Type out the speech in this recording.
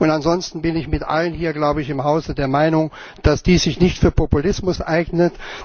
Ansonsten bin ich mit allen hier glaube ich im Hause der Meinung, dass dies sich nicht für Populismus eignet.